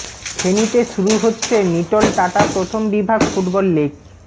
ফেনীতে শুরু হচ্ছে নীটল টাটা প্রথম বিভাগ ফুটবল লীগ